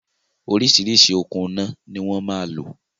Oríṣiríṣi okùn iná ni wọn máa lò